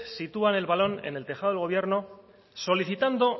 sitúan el balón en el tejado del gobierno solicitando